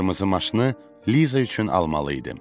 Bu qırmızı maşını Liza üçün almalı idim.